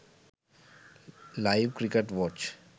live cricket watch